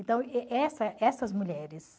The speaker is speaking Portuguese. Então, essa essas mulheres...